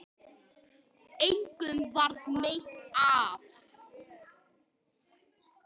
Engum varð meint af.